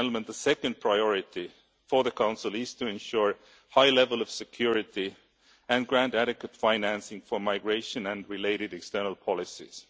The second priority for the Council is to ensure a high level of security and grant adequate financing for migration and related external policies.